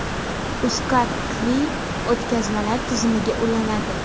UzCard Qiwi o‘tkazmalar tizimiga ulanadi .